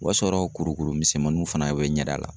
O y'a sɔrɔ kurukuru misɛnmaninw fana be n ɲɛda la.